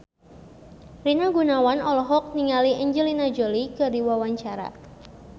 Rina Gunawan olohok ningali Angelina Jolie keur diwawancara